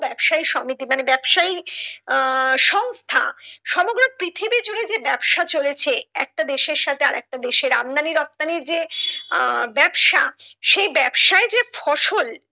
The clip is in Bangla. ব্যাবসায়ী সমিতি মানে ব্যাবসায়ী আহ সংস্থা সমগ্র পৃথিবী জুড়ে যে ব্যাবসা চলেছে একটা দেশের সাথে আরেকটা দেশের আমদানি রপ্তানির যে আহ ব্যাবসা সেই ব্যাবসায় যে ফসল